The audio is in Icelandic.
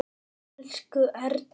Elsku Erna.